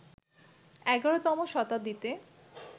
১১তম শতাব্দীতে